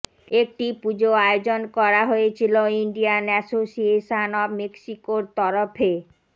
একটি পুজো আয়োজন করা হয়েছিল ইন্ডিয়ান অ্যাসোসিয়েশন অফ মেক্সিকোর তরফে